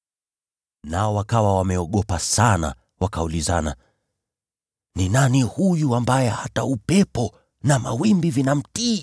Nao wakawa wameogopa sana, wakaulizana, “Ni nani huyu ambaye hata upepo na mawimbi vinamtii?”